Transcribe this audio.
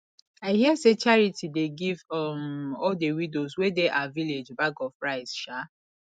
i hear say charity dey give um all the widows wey dey our village bag of rice um